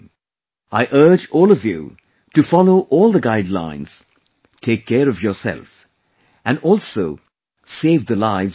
I urge all of you to follow all the guidelines, take care of yourself and also save the lives of others